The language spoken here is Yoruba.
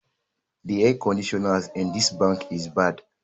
The air conditioners in this bank is bad